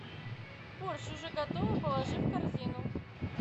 борщ уже готово положи в корзину